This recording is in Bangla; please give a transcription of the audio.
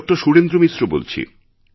সুরেন্দ্র মিশ্র বলছি